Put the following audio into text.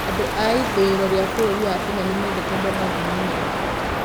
Andũ a ithũĩro rĩa bũrũri wa Kenya nĩmendete managu mũno.